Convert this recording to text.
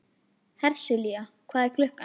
Hersilía, hvað er klukkan?